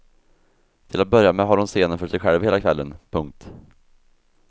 Till att börja med har hon scenen för sig själv hela kvällen. punkt